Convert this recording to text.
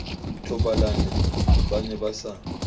thobalane ba ne ba sa